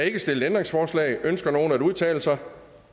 ikke stillet ændringsforslag ønsker nogen at udtale sig